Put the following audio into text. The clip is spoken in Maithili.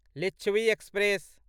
लिच्छवी एक्सप्रेस